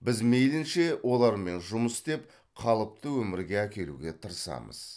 біз мейілінше олармен жұмыс істеп қалыпты өмірге әкелуге тырысамыз